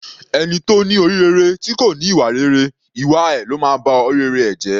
Ẹni tó ní orí rere tí kò ní ìwà rere, ìwà ẹ ló máa ba orí rere ẹ̀ jẹ́.